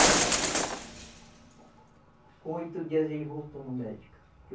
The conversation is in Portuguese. Com oito dias, ele voltou no médico.